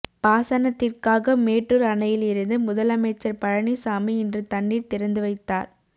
பாசனத்திற்காக மேட்டூர் அணையில் இருந்து முதலமைச்சர் பழனிசாமி இன்று தண்ணீர் திறந்து வைத்தார்